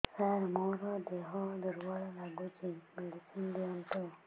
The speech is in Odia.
ସାର ମୋର ଦେହ ଦୁର୍ବଳ ଲାଗୁଚି ମେଡିସିନ ଦିଅନ୍ତୁ